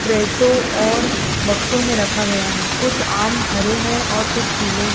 पेटो और बक्सों में रखा गया है कुछ आम हरे हैं और कुछ पीले हैं।